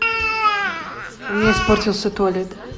у меня испортился туалет